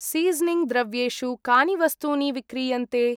Seasoning द्रव्येषु कानि वस्तूनि विक्रीयन्ते?